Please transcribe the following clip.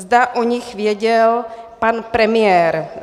Zda o nich věděl pan premiér.